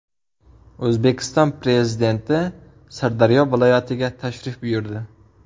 O‘zbekiston Prezidenti Sirdaryo viloyatiga tashrif buyurdi .